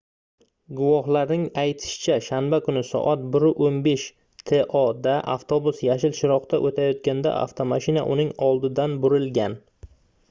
guvohlarning aytishicha shanba kuni soat 1:15 to da avtobus yashil chiroqda o'tayotganda avtomashina uning oldidan burilgan